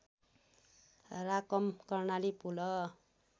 Rakam Karnali पुल